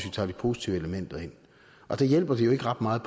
vi tager de positive elementer ind der hjælper det jo ikke ret meget